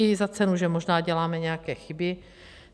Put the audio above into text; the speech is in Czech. I za cenu, že možná děláme nějaké chyby.